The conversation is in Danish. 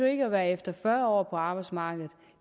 jo ikke være efter fyrre år på arbejdsmarkedet